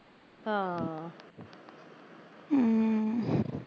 ਹਾਂ ਅਮ